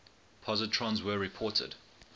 positrons were reported